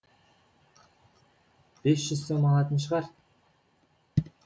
бес жүз сом алатын шығар